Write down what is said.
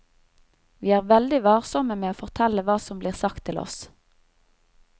Vi er veldig varsomme med å fortelle hva som blir sagt til oss.